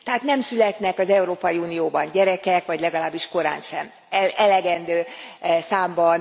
Tehát nem születnek az Európai Unióban gyerekek, vagy legalábbis korántsem elegendő számban.